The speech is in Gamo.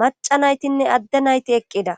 maca naytinne adde nayti eqqida.